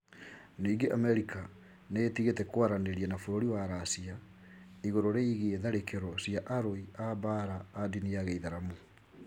Ningĩ Amerika nĩ ĩtigĩte kwaranĩria na bũrũri wa Racia igũrũ rĩgiĩ tharĩkĩro cia arũi a mbaara a ndini ya gĩithiramu.